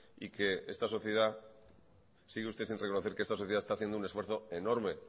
y sigue usted sin reconocer que esta sociedad está haciendo un esfuerzo